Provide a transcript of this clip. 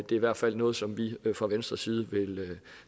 det er i hvert fald noget som vi fra venstres side